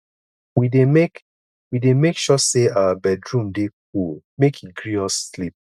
we dey make we dey make sure sey our bedroom dey cool make e gree us sleep